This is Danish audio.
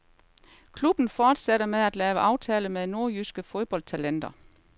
Klubben forsætter med at lave aftale med nordjyske fodboldtalenter.